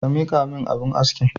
Ka miƙamin abun askin.